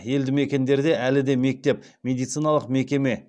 елді мекендерде әлі де мектеп медициналық мекеме